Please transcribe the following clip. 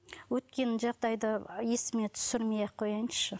өткен жағдайды есіме түсірмей ақ қояйыншы